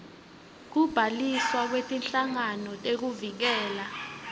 kubhaliswa kwetinhlangano tekuvikela